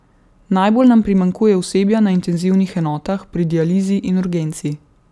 Najbolj nam primanjkuje osebja na intenzivnih enotah, pri dializi in urgenci.